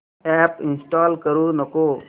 app install करू नको